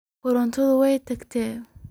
Korontadhi way tagtey.